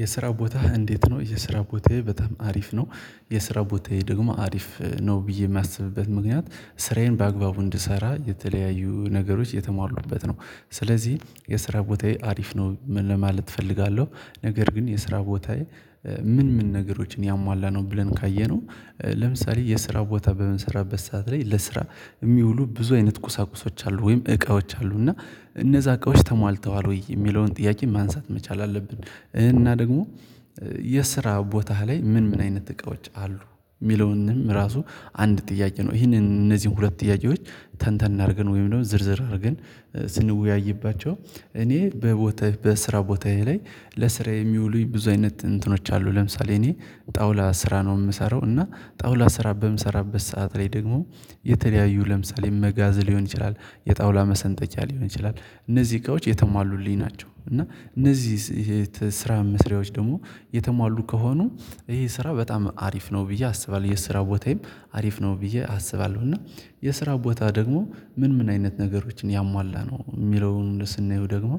የስራ ቦታህ እንዴት ነው? የስራ ቦታዬ በጣም አሪፍ ነው። የስራ ቦታዬ ደግሞ አሪፍ ነው ብዬ የሚያስብበት ምክንያት ስራዬን በአግባቡ እንድሰራ የተለያዩ ነገሮች የተሟሉበት ነው። ስለዚህ የስራ ቦታዬ አሪፍ ነው ለማለት እፈልጋለሁ። ነገር ግን የስራ ቦታዬ ምን ምን ነገሮችን ያሟላ ነው ብለን ካየነው። ለምሳሌ የስራ ቦታ በምሰራበት ሰዓት ላይ ለስራ የሚውሉ ብዙ አይነት ቁሳቁሶች አሉ ወይም እቃዎች አሉ እና እነዛ እቃዎች ተሟልተዋል ወይ የሚለውን ጥያቄ ማንሳት መቻል አለብን። እና ደግሞ የስራ ቦታህ ላይ ምን ምን አይነት እቃዎች አሉ? የሚለውንም ራሱ አንድ ጥያቄ ነው ይሄንን እነዚህን ሁለት ጥያቄዎች ተንተን አድርገን ወይም ደግሞ ዝርዝር አድርገን። ስንወያይባቸው እኔ በቦታ በስራ ቦታዬ ላይ ለስራዬ የሚውሉኝ ብዙ አይነት እንትኖች አሉ። ለምሳሌ እኔ ጣውላ ስራ ነው የምሰራው እና ጣውላ ስራ በምሰራበት ሰዓት ላይ ደግሞ የተለያዩ ለምሳሌ መጋዝ ሊሆን ይችላል። የጣውላ መሰንጠቂያ ሊሆን ይችላል እነዚህ እቃቆች የተሟሉልኝ ናቸው። እና እነዚህ ስራ መስሪያዎች ደግሞ የተሟሉ ከሆኑ ይሄ ስራ በጣም አሪፍ ነው ብዬ አስባለሁ የስራ ቦታዬም አሪፍ ነው ብዬ አስባለሁ። እና የስራ ቦታ ደግሞ ምን ምን አይነት ነገሮችን ያሟላ ነው የሚለውን ስናየው ደግሞ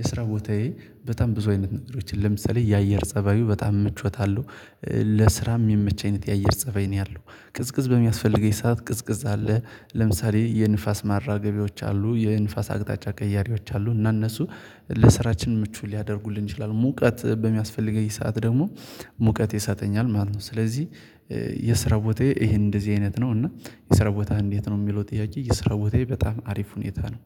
የስራ ቦታዬ በጣም ብዙ አይነት ነጥሮችን ለምሳሌ የአየር ፀባዩ በጣም ምቾተ አለው። ለስራ የሚመች አይነት የአየር ፀበይ ነው ያለው ቅዝቅዝ በሚያስፈልገኝ ሰዓት ቅዝቅዝ አለ ለምሳሌ የንፋስ ማራገቢዎች አሉ የንፋስ አቅጣጫ ቀያሪዎች አሉ እና እነሱ ለስራችን ምቹ ሊያደርጉልን ይችላሉ ሙቀት በሚያስፈልገኝ ሰዓት ደግሞ ሙቀት ይሰጠኛል ማለት ነው። ስለዚህ የስራ ቦታዬ ይሄን እንደዚህ አይነት ነው። እና የስራ ቦታ እንዴት ነው የሚለው ጥያቄ የስራ ቦታዬ በጣም አሪፍ ሁኔታ ነው